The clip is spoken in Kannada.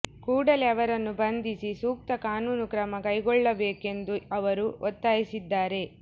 ಕೂಡಲೇ ಅವರನ್ನು ಬಂಧಿಸಿ ಸೂಕ್ತ ಕಾನೂನು ಕ್ರಮ ಕೈಗೊಳ್ಳಬೇಕೆಂದು ಅವರು ಒತ್ತಾಯಿಸಿದ್ದಾರೆ